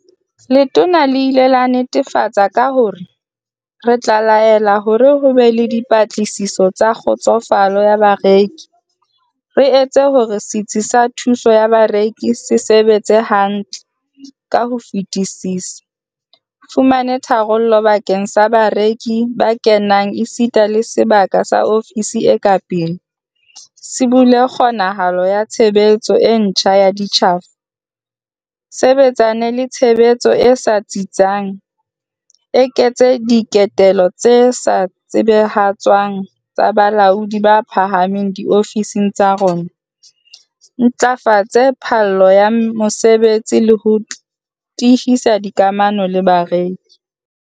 Letona le ile la nnetefatsa ka hore, "Re tla laela hore ho be le dipatlisiso tsa kgotsofalo ya bareki, re etse hore setsi sa thuso ya bareki se sebetse hantle ka ho fetisisa, fumane tharollo bakeng sa bareki ba kenang esita le sebaka sa ofisi e ka pele, sibolle kgonahalo ya tshebetso e ntjha ya ditjhafo, sebetsane le tshebetso e sa tsitsang, eketsa diketelo tse sa tsebahatswang tsa balaodi ba phahameng diofising tsa rona, ntlafatse phallo ya mosebetsi le ho tiisa dikamano le bareki."